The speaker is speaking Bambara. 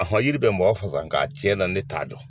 ɔhɔ jiri bɛ mɔgɔ faga nka tiɲɛ na ne t'a dɔn